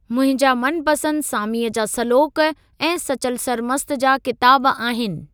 मुंहिंजा मनपंसदि सामीअ जा सलोक ऐं सचल सरमस्त जा किताब आहिनि।